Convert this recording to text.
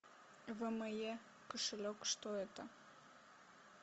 вме кошелек что это